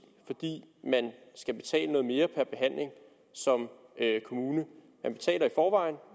fordi man skal betale noget mere per behandling som kommune